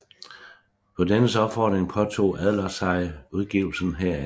På dennes opfordring påtog Adler sig udgivelsen heraf